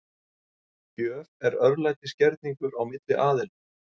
Gjöf er örlætisgerningur milli aðila.